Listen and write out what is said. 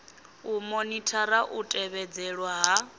u monithara u tevhedzelwa ha